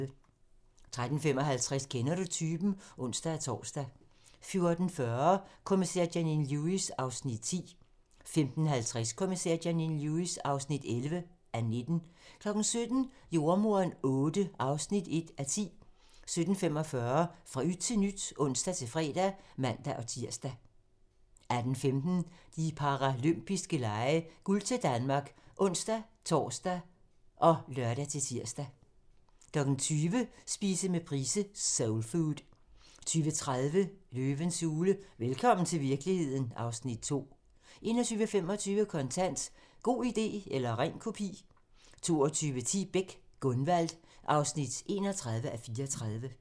13:55: Kender du typen? (ons-tor) 14:40: Kommissær Janine Lewis (10:19) 15:50: Kommissær Janine Lewis (11:19) 17:00: Jordemoderen VIII (1:10) 17:45: Fra yt til nyt (ons-fre og man-tir) 18:15: De paralympiske lege: Guld til Danmark (ons-tor og lør-tir) 20:00: Spise med Price - Soulfood 20:30: Løvens hule – velkommen til virkeligheden (Afs. 2) 21:25: Kontant: God idé eller ren kopi 22:10: Beck: Gunvald (31:34)